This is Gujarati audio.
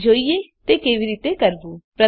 ચાલો જોઈએ તે કેવી રીતે કરવું